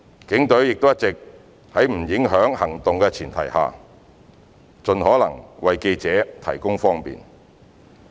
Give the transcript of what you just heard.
警隊亦一直在不影響行動的前提下，盡可能為記者提供方便。